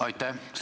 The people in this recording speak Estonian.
Aitäh!